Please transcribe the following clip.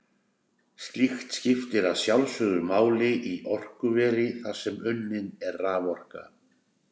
Slíkt skiptir að sjálfsögðu máli í orkuveri þar sem unnin er raforka.